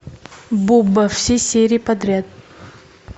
буба все серии подряд